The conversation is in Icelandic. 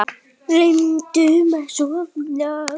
Reyndum að sofna.